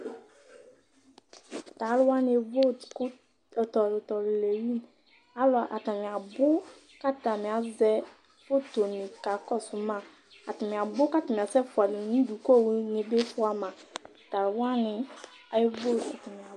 Tu aluwani evot ku tɛ ɔlu tɛ ɔlu le yi alu atani abu ku atani azɛ fotoni ku akakɔsuma atani abu ku atani asɛ fua yi nu du ku owu fua ma Tu aluwani evot